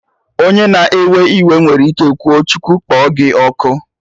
Onye na-ewe iwe nwere ike kwuo "Chukwu kpọ gị ọkụ"